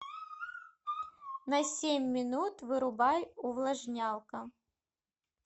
на семь минут вырубай увлажнялка